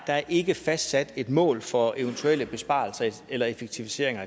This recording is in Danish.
der ikke er fastsat et mål for eventuelle besparelser eller effektiviseringer